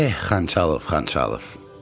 Eh, Xançalov, Xançalov!